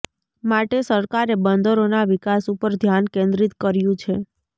માટે સરકારે બંદરોના વિકાસ ઉપર ધ્યાન કેન્દ્રીત કર્યુ છે